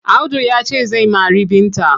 Audu ya ce zai mari Binta.